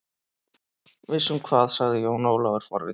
Viss um hvað, sagði Jón Ólafur forvitinn.